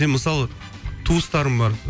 мен мысалы туыстарым бар